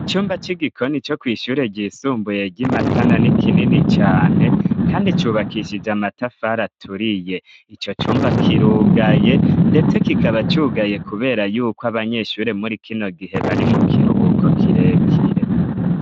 Icumba c'igikoni co kw ishyure ryisumbuye ry'i Matana ni kinini cane kandi cubakishije amatafari aturiye ico cumba kirugaye ndetse kikaba cugaye kubera yuko abanyeshure muri kino gihe bari mu kiruhuko kirekire.